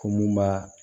Ko mun b'a